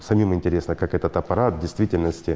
самим интересно как этот аппарат действительности